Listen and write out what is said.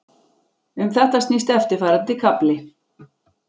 Um þetta snýst eftirfarandi kafli.